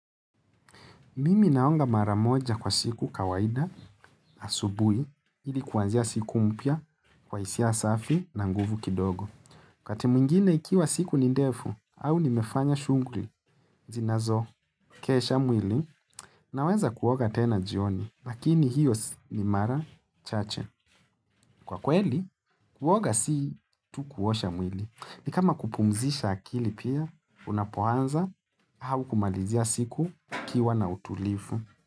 Mimi naonga maramoja kwa siku kawaida, asubui, ilikuanzia siku mpya, kwa isia asafi na nguvu kidogo. Kwa temungine ikiwa siku nindefu, au nimefanya shungri, zinazo, kesha mwili, naweza kuoga tena jioni, lakini hiyo ni mara chache. Kwa kweli, kuoga si tu kuosha mwili. Ni kama kupumzisha akili pia, unapoanza, au kumalizia siku ikiwa na utulifu.